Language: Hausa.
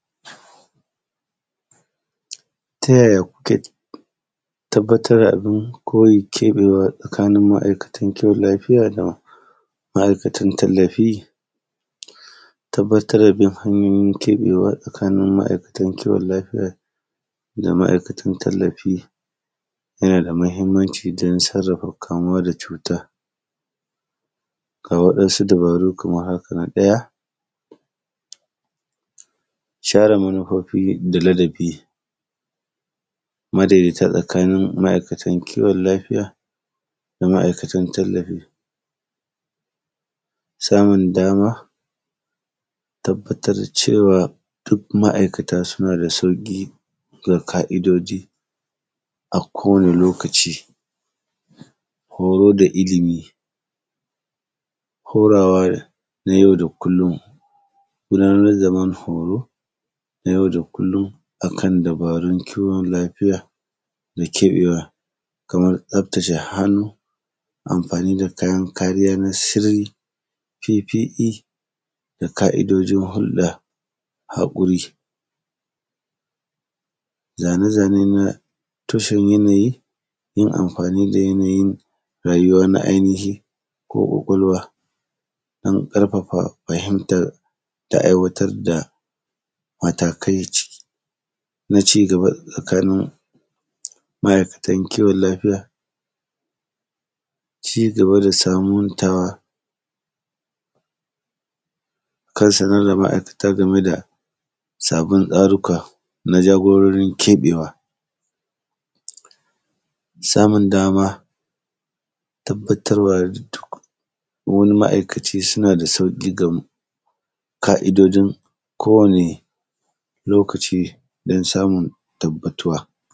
Ta yaya kuke tabbatar da abin koyin keɓewa tsakanin ma’aikatan kiwon lafiya da ma’aikatan tallafi? Tabbatar da hanyin keɓewa tsakanin ma’aikatan kiwon lafiya da ma’aikatan tallafi yana da muhimmanci don sarrafa kamuwa da cuta. Ga wasu dabaru kamar haka: na ɗaya, shara manufofi da ladabi madaidaita tsakanin ma’aikatan kiwon lafiya da ma’aikatan tallafi. Samun dama, tabbatar da cewa duk ma’aikata suna da sauƙi da ƙa’idoji a kowane lokaci. Horo da ilimi, horawa na yau da kullum, gudanar da ban-horo na yau da kullum a kan dabarun kiwon lafiya da keɓewa, kamar tsaftace hannu, amfani da kayan kariya na sirri, P.P.E da ƙa’idojin hulɗa, haƙuri, zane zane na toshewan yanayi, yin amfani da yanayin rayuwa na ainihi ko ƙwaƙwalwa, don ƙarfafa fahimtar da aiwatar da matakai na ci gaba tsakanin ma’aikatan kiwon lafiya, ci gaba da sabuntawa kan sanar da ma’aikata game da sabbin tsaruka na jagororin keɓewa, samun dama, tabbatar wa da duk wani ma’aikaci suna da sauƙi ga ƙa’idojin kowane lokaci don samun tabbatuwa.